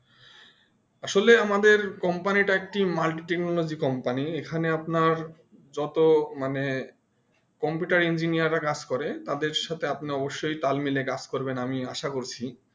আসলে আমাদের company টা একটি Multi technology company এখানে আপনার যত মানে Computer Engineer রা কাজ করে তাদের সাথে অবশই তাল মিলে কাজ করবেন আমি আসা করছি